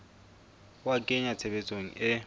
ho a kenya tshebetsong e